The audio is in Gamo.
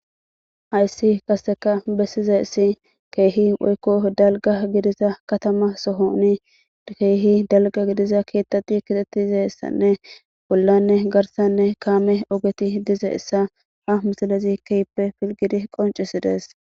Hayssi qaseka bessiza essi keehi woykko dalga gidiza katama sohoni keehi dalga gidiza keettati kitettize issanne bollanne garsanne kaame ogeti dize issa a misalezi keippe filgidi qoncisidees.